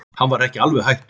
Hann var ekki alveg hættur.